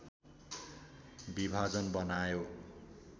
विभाजन बनायो